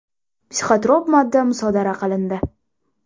Psixotrop modda musodara qilindi.